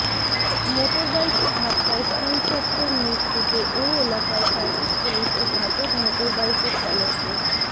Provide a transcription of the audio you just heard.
motor বাইকের ধাক্কায় স্কুলছাত্রীর মৃত্যুতে ওই এলাকায় ট্রাফিক পুলিশ ও ঘাতক মোটর বাইকের চালককে